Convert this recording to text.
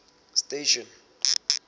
station